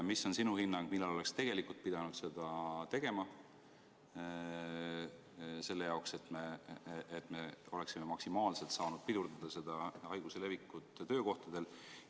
Mis on sinu hinnang, millal oleks tegelikult pidanud seda tegema, selleks et me oleksime maksimaalselt saanud pidurdada haiguse levikut töökohtadel?